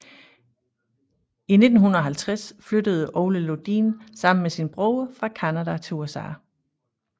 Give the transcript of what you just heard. I 1950 flyttede Ole Lundin sammen med sin bror fra Canada til USA